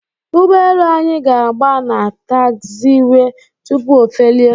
ụgbọelu anyị ga-agba na tagziwee tupu ofelie.